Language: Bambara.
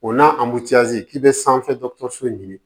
O n'a k'i bɛ sanfɛ dɔgɔtɔrɔso ɲini